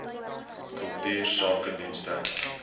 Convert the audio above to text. kultuursakedienste